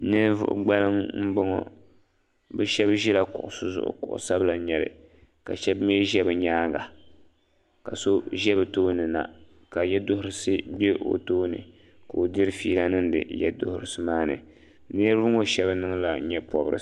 Ninvuɣi gbaliŋ mbɔŋɔ bi shɛba zila kuɣusi zuɣu kuɣu sabila nyɛli ka shɛba mi zɛ bi yɛanga ka so zɛ bi tooni na ka yiɛduhirisi bɛ o tooni ka o diri feela niŋdi yiɛduhirisi maa ni niriba ŋɔ shɛba niŋla yee pɔbirisi.